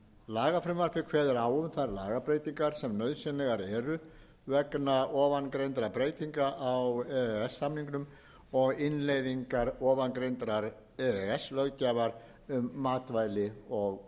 lagafrumvarpið kveður á um þær lagabreytingar sem nauðsynlegar eru vegna ofangreindra breytinga á e e s samningnum og innleiðingar ofangreindrar e e s löggjafar um matvæli og fóður